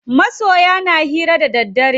Masoya na hira da daddare.